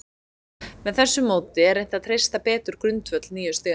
Með þessu móti er reynt að treysta betur grundvöll nýju stiganna.